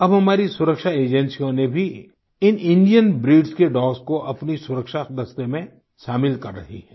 अब हमारी सुरक्षा एजेंसियों ने भी इन इंडियन ब्रीड के डॉग्स को अपने सुरक्षा दस्ते में शामिल कर रही हैं